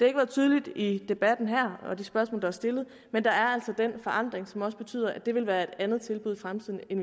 ikke været tydeligt i debatten her og i de spørgsmål der er stillet men der er altså den forandring som også betyder at det vil være et andet tilbud i fremtiden end